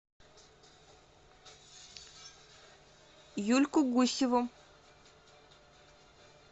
юльку гусеву